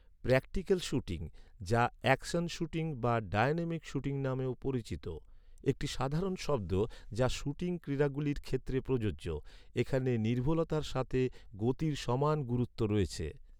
Practical shooting, যা action shooting বা dynamic shooting নামেও পরিচিত, একটি সাধারণ শব্দ, যা শ্যুটিং ক্রীড়াগুলির ক্ষেত্রে প্রযোজ্য। এখানে নির্ভুলতার সাথে গতির সমান গুরুত্ব রয়েছে।